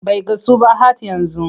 Bai gasu ba hhat yanzu.